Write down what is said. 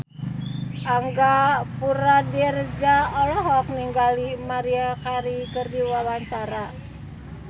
Angga Puradiredja olohok ningali Maria Carey keur diwawancara